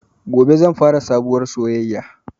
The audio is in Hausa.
Gobe zan fara sabuwar soyaya